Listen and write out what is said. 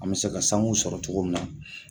An mɛ se ka sanu sɔrɔ togo min na